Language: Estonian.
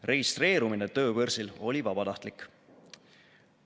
Registreerumine tööbörsil oli vabatahtlik.